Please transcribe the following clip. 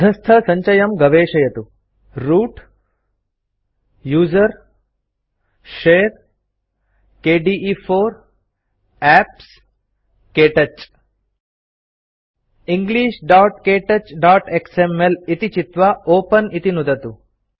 अधस्थसञ्चयं गवेषयतु root usr share kde4 apps क्तौच englishktouchएक्सएमएल इति चित्वा ओपेन इति नुदतु